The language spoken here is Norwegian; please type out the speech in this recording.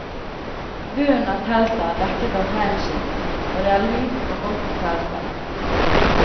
Bunnen av teltet er dekket av reinskinn og det er lunt og godt i teltet.